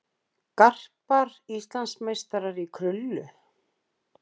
Garpar Íslandsmeistarar í krullu